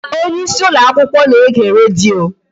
Onyeisi ụlọakwụkwọ na-ege redio